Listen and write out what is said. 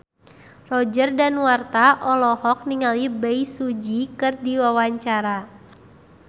Roger Danuarta olohok ningali Bae Su Ji keur diwawancara